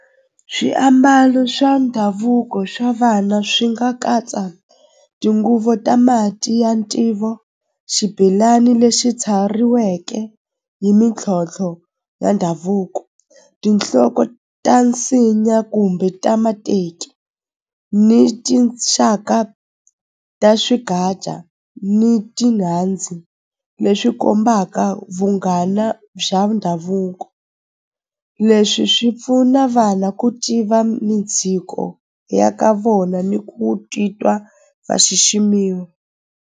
Swiambalo swa ndhavuko swa vana swi nga katsa tinguvu ta mati ya ntivo xibelani lexi tshariweke hi mintlhontlho ya ndhavuko tinhloko ta nsinya kumbe ta mateki ni tinxaka ta ni leswi kombaka vunghana bya ndhavuko leswi swi pfuna vana ku tiva midziko ya ka vona ni ku titwa va xiximiwa.